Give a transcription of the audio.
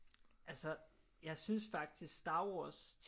Altså jeg synes faktisk Star Wars